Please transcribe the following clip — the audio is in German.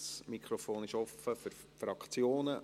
Das Mikrofon ist offen für die Fraktionen.